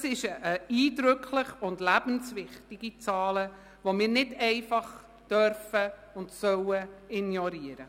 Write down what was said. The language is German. Das sind eindrückliche und lebenswichtige Zahlen, die wir nicht einfach ignorieren dürfen und sollen.